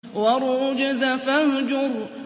وَالرُّجْزَ فَاهْجُرْ